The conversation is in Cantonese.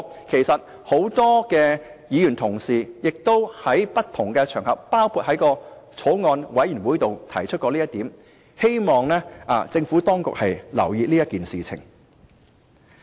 其實，很多議員同事亦曾在不同場合，包括在法案委員會提出這點，希望政府當局留意。